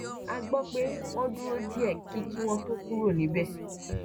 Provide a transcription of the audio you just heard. a gbọ pé wọn dúró díẹ kí kí wọn tó kúrò níbẹ